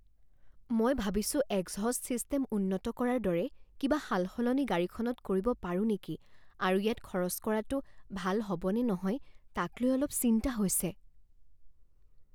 মই ভাবিছোঁ exhaust system উন্নত কৰাৰ দৰে কিবা সালসলনি গাড়ীখনত কৰিব পাৰোঁ নেকি আৰু ইয়াত খৰচ কৰাটো ভাল হ'ব নে নহয় তাক লৈ অলপ চিন্তা হৈছে।